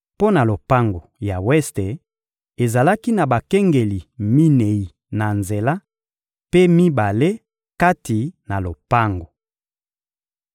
Mpo na lopango ya weste, ezalaki na bakengeli minei na nzela; mpe mibale kati na lopango.